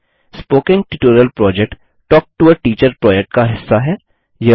spoken tutorial project talk to a teacher project का हिस्सा है